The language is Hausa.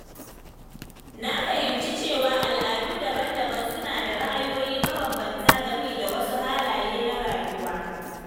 Na fahimci cewa al’adu daban-daban suna da ra’ayoyi mabambanta game da wasu halaye na rayuwa.